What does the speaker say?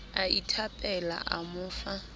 a ithapela a mo fa